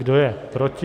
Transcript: Kdo je proti?